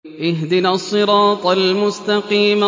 اهْدِنَا الصِّرَاطَ الْمُسْتَقِيمَ